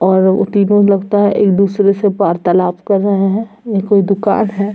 और तीनो लगता है एक दूसरे से वार्तालाप कर रहे है ये कोई दुकान है।